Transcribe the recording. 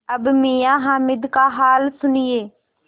अब मियाँ हामिद का हाल सुनिए